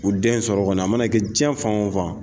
U den sɔrɔ kɔni a ma na kɛ jiɲɛ fan wo fan